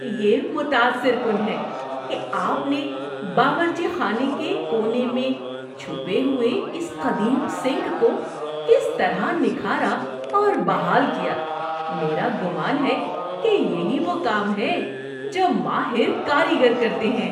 یہ متاثر کن ہے کہ آپ نے باورچی خانے کے کونے میں چھپے ہوئے اس قدیم سنک کو کس طرح نکھارا اور بحال کیا۔ میرا گمان ہے کہ یہی وہ کام ہے جو ماہر کاریگر کرتے ہیں۔